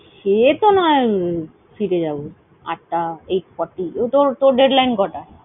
সেতো নয় ফিরে যাবো আটটা, eight forty তো তোর deadline কটায়?